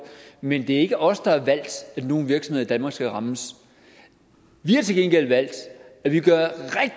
men det er ikke os der har valgt at nogle virksomheder i danmark skal rammes vi har til gengæld valgt at vi